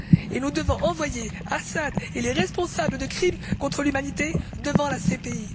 Et nous devons envoyer Assad et les responsables de crimes contre l'humanité devant la CPI.